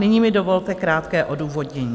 Nyní mi dovolte krátké odůvodnění.